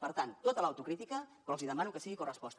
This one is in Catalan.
per tant tota l’autocrítica però els hi demano que sigui corresposta